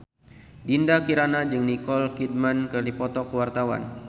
Dinda Kirana jeung Nicole Kidman keur dipoto ku wartawan